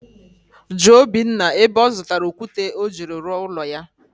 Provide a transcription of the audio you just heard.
jụọ Obinna ebe ọ zụtara okwute o jiri rụọ ụlọ ya..